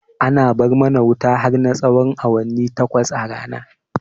Ana bar mana wuta har na tsahon awanni takwas a rana